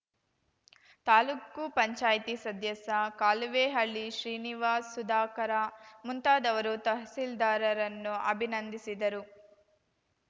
ತಾಲೂಕು ಪಂಚಾಯ್ತಿ ಸದಸ್ಯ ಕಾಲುವೇಹಳ್ಳಿ ಶ್ರೀನಿವಾಸ್‌ ಸುಧಾಕರ ಮುಂತಾದವರು ತಹಸೀಲ್ದಾರ್‌ರನ್ನು ಅಭಿನಂದಿಸಿದರು